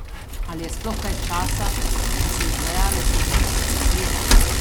Ali je sploh kaj časa, da se izvajalec vmes odpočije?